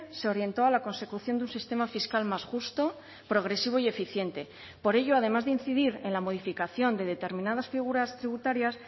se orientó a la consecución de un sistema fiscal más justo progresivo y eficiente por ello además de incidir en la modificación de determinadas figuras tributarias